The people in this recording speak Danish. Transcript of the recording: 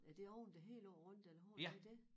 Er det oven det hele over rundt den har det det